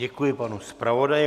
Děkuji panu zpravodaji.